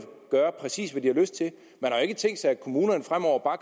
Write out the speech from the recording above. gøre præcis hvad de har lyst til man har ikke tænkt sig at kommunerne fremover bare